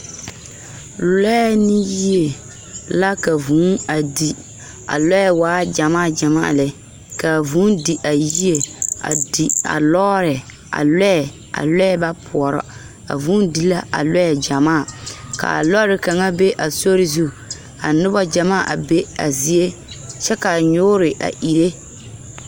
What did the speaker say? Lɔɛ ne yie la ka vūū a di. A lɔɛ waa gyamaa gyamaa lɛ, ka a vūū di a yie, a di a lɔɔɛ, a lɔɛ, a lɔɛ ba poɔrɔ. Vūū di la a lɔɛ gyamaa, ka a lɔɔre kaŋa be a sori zu, ka noba gyamaa a be a zie, kyɛ ka a nyoore a ire.